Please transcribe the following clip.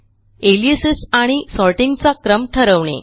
aliases आणि सॉर्टिंगचा क्रम ठरवणे